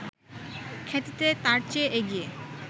খ্যাতিতে তার চেয়ে এগিয়ে